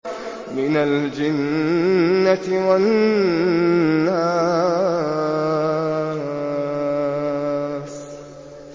مِنَ الْجِنَّةِ وَالنَّاسِ